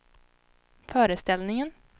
föreställningen